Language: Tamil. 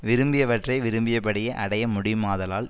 விரும்பியவற்றை விரும்பியபடியே அடைய முடியுமாதலால்